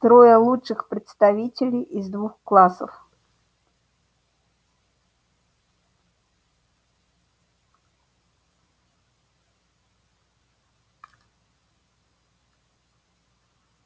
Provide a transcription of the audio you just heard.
трое лучших представителей из двух классов